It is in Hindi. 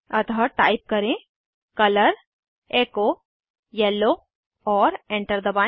अतः टाइप करें कलर एचो येलो और एंटर दबाएं